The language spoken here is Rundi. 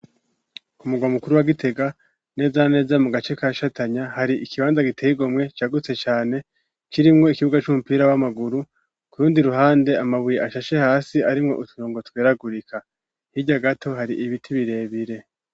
Umuga mukuru wagitega neza neza mu gace ka shatanya hari ikibanza gitegomwe cagutse cane kirimwo ikibuga c'umupira w'amaguru kurundi ruhande amabuye ashashe hasi arimwo utuna ngo tweragurika hirya gato hari ibiti birebire.